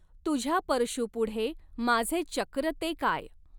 तुझ्या परशूपुढे माझे चक्र ते काय